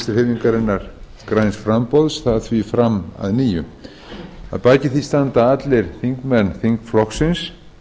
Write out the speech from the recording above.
vinstri hreyfingarinnar græns framboðs það því fram að nýju að baki því standa allir þingmenn þingflokksins